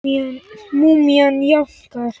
Múmían jánkar.